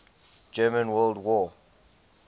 german world war